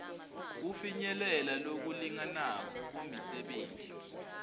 kufinyelela lokulinganako kumisebenti